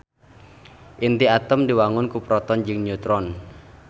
Inti atom diwangun ku proton jeung neutron.